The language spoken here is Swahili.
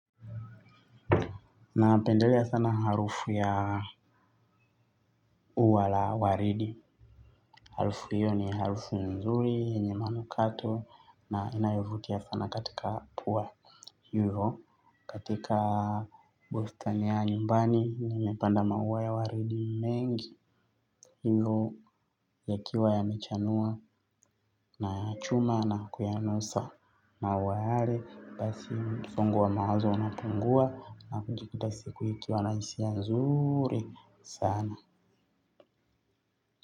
Na pendela sana harufu ya ua la waridi. Harufu hiyo ni harufu nzuri yenye manukato. Na inayovutia sana katika pua hivyo katika bustani ya nyumbani nimepanda maua ya waridi mengi hivyo yakiwa yamechanua. Na yachuma na kuyanusa maua yale basi msongo wa mawazo unapungua. Na kujikuta siku ikiwa nahisia nzuri sana.